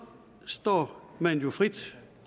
står man jo frit